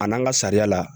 A n'an ka sariya la